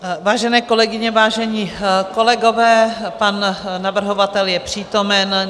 Vážené kolegyně, vážení kolegové, pan navrhovatel je přítomen.